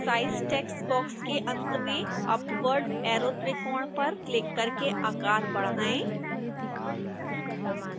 size text box के अंत में अपवर्ड ऐरो त्रिकोण पर क्लिक करके आकार बढ़ाएं